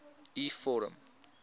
u vorm